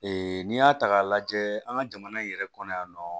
n'i y'a ta k'a lajɛ an ka jamana in yɛrɛ kɔnɔ yan nɔ